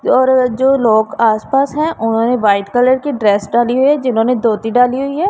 जो रोये जो लोग आस पास हैं और उन्होंने व्हाइट कलर की ड्रेस डाली हुईं हैं जिन्होंने धोती डाली हुईं हैं।